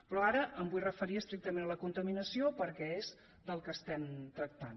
però ara em vull referir estrictament a la contaminació perquè és del que tractem